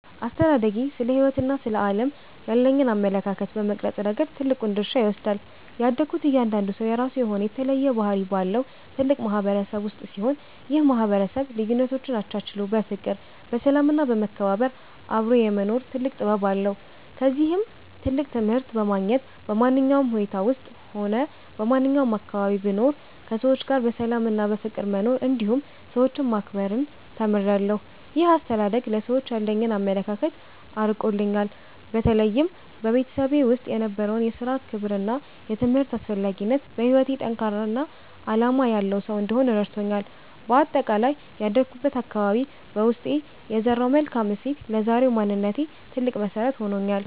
አስተዳደጌ ስለ ሕይወትና ስለ ዓለም ያለኝን አመለካከት በመቅረጽ ረገድ ትልቁን ድርሻ ይወስዳል። ያደግኩት እያንዳንዱ ሰው የራሱ የሆነ የተለየ ባህሪ ባለው ትልቅ ማህበረሰብ ውስጥ ሲሆን፣ ይህ ማህበረሰብ ልዩነቶችን አቻችሎ በፍቅር፣ በሰላም እና በመከባበር አብሮ የመኖር ትልቅ ጥበብ አለው። ከዚህም ትልቅ ትምህርት በማግኘት፣ በማንኛውም ሁኔታ ውስጥም ሆነ በማንኛውም አካባቢ ብኖር ከሰዎች ጋር በሰላምና በፍቅር መኖርን እንዲሁም ሰዎችን ማክበርን ተምሬያለሁ። ይህ አስተዳደግ ለሰዎች ያለኝን አመለካከት አርቆልኛል። በተለይም በቤተሰቤ ውስጥ የነበረው የሥራ ክብርና የትምህርት አስፈላጊነት፣ በሕይወቴ ጠንካራና ዓላማ ያለው ሰው እንድሆን ረድቶኛል። በአጠቃላይ ያደግኩበት አካባቢ በውስጤ የዘራው መልካም እሴት ለዛሬው ማንነቴ ትልቅ መሰረት ሆኖኛል።